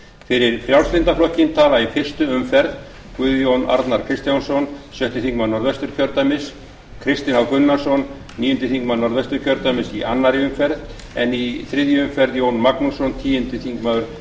fyrir frjálslynda flokkinn tala í fyrstu umferð guðjón arnar kristjánsson sjötti þingmaður norðvesturkjördæmis kristinn h gunnarsson níundi þingmaður norðvesturkjördæmis í annarri umferð en í þriðju umferð jón magnússon tíundi þingmaður